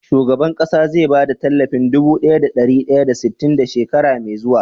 Shugaban ƙasa ze ba da talafin Dubu biyu da dari daya da sitin da shekara me zuwa?